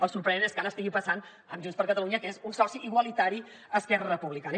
el sorprenent és que ara estigui passant amb junts per catalunya que és un soci igualitari a esquerra republicana